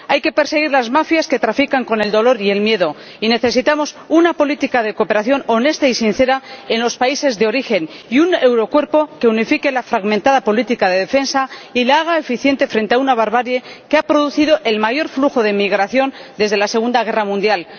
Hay que perseguir a las mafias que trafican con el dolor y el miedo, y necesitamos una política de cooperación honesta y sincera en los países de origen y un eurocuerpo que unifique la fragmentada política de defensa y la haga eficiente frente a una barbarie que ha producido el mayor flujo de migración desde la Segunda Guerra Mundial.